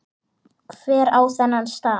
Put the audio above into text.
Hver á þennan staf?